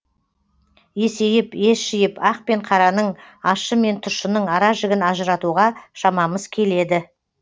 есейіп ес жиып ақ пен қараның ащы мен тұщының ара жігін ажыратуға шамамыз келеді